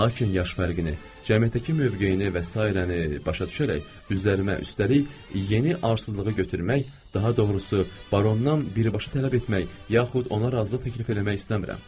Lakin yaş fərqini, cəmiyyətdəki mövqeyini və sairəni başa düşərək üzərimə, üstəlik yeni arsızlığı götürmək, daha doğrusu barondan birbaşa tələb etmək, yaxud ona razılıq təklif eləmək istəmirəm.